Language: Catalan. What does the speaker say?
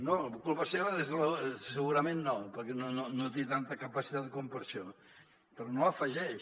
no culpa seva segurament no perquè no té tanta capacitat com per això però no hi afegeix